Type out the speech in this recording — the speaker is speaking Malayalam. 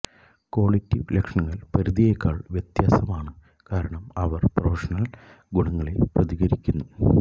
ക്വാളിറ്റിവ് ലക്ഷ്യങ്ങൾ പരിധിയേക്കാൾ വ്യത്യസ്തമാണ് കാരണം അവർ പ്രമോഷണൽ ഗുണങ്ങളെ പ്രതിനിധീകരിക്കുന്നു